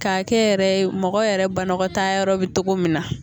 K'a kɛ yɛrɛ ye mɔgɔ yɛrɛ banakɔtaa yɔrɔ bɛ cogo min na